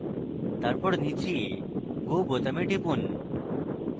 তারপর নীচে go বোতামে টিপুন